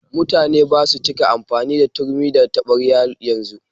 Mutane basu cika amfani da turmi da taɓarya yanzu.